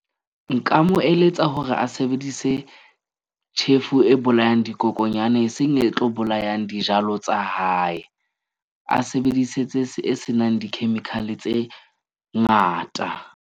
Nka mo eletsa hore a sebedise tjhefu e bolayang dikokonyana, e seng e tlo bolayang dijalo tsa hae. A sebedise tse e senang di-chemical-e tse ngata.